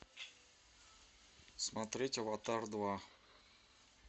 смотреть аватар два